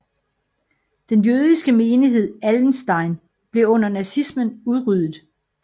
Den jødiske menighed i Allenstein blev under nazismen udryddet